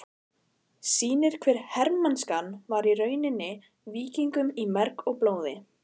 sýnir hve hermennskan var runnin víkingum í merg og blóð.